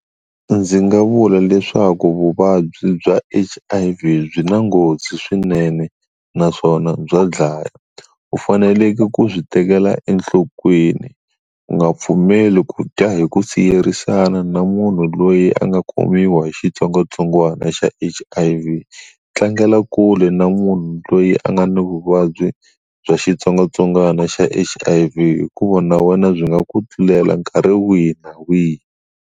Ndzi nga vula leswaku vuvabyi bya H_I_V byi na nghozi swinene naswona bya dlaya, u faneleke ku swi tekela enhlokweni u nga pfumeli ku dya hi ku siyerisana na munhu loyi a nga khomiwi hi xitsongwatsongwana xa H_I_V, tlangela kule na munhu loyi a nga ni vuvabyi bya xitsongwatsongwana xa H_I_V hikuva na wena byi nga ku tlulela nkarhi wihi na wihi.